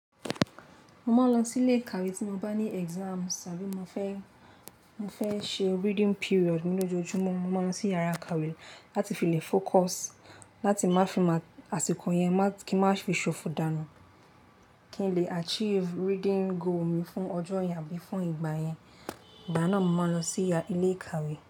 Mo máa ń lọ sí ilé ìkàwé tí mo bá ní idanwo tàbí mo fẹ́, mo fẹ́ ṣe reading period nínú ojúmọ́ mo máa ń sí yàrá ìkàwé láti fi lè kojumo láti má fi mọ̀ àsìkò yẹn má kí n má fi ṣòfò dànù kí n lè achieve reading goal mi fún ọjọ́ yẹn àbí fún ìgbà yẹn. Ìgbà náà mo máa ń lọ sí ilé ìkàwé.